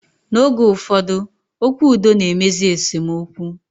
Na oge ụfọdụ, okwu udo na-emezi esemokwu